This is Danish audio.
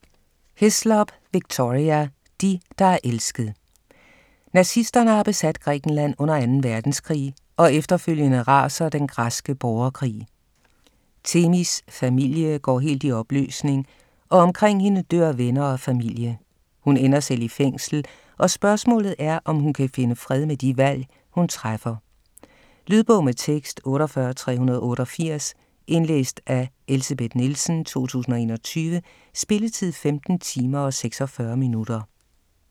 Hislop, Victoria: De, der er elsket Nazisterne har besat Grækenland under 2. verdenskrig og efterfølgende raser den græske borgerkrig. Themis' familie går helt i opløsning, og omkring hende dør venner og familie. Hun ender selv i fængsel, og spørgsmålet er, om hun kan finde fred med de valg, hun træffer. Lydbog med tekst 48388 Indlæst af Elsebeth Nielsen, 2021. Spilletid: 15 timer, 46 minutter.